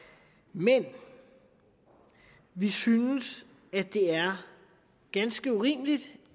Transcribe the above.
men vi synes det er ganske urimeligt